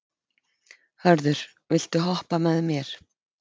Hörður, viltu hoppa með mér?